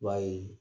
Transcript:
I b'a ye